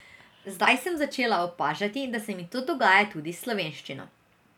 Zdaj sem začela opažati, da se mi to dogaja tudi s slovenščino.